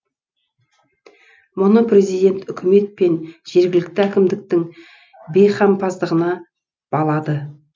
мұны президент үкімет пен жергілікті әкімдіктің бейқамсыздығына балады